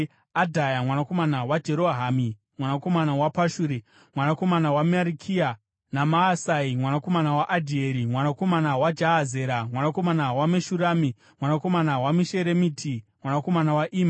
Adhaya mwanakomana waJerohamu, mwanakomana waPashuri, mwanakomana waMarikia; naMaasai mwanakomana waAdhieri, mwanakomana waJahazera, mwanakomana waMeshurami, mwanakomana waMeshiremiti, mwanakomana waIma.